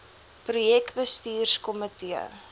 projek bestuurs komitee